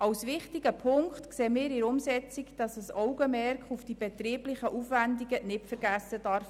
Ein wichtiger Punkt bei der Umsetzung ist für uns, dass ein Augenmerk auf die betrieblichen Aufwendungen nicht vergessen werden darf.